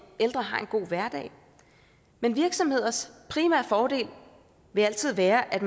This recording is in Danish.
ældre har en god hverdag men virksomheders primære formål vil altid være at